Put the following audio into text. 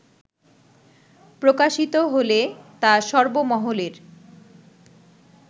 প্রকাশিত হলে তা সর্বমহলের